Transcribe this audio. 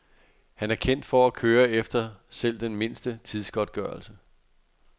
Han er kendt for at køre efter selv den mindste tidsgodtgørelse.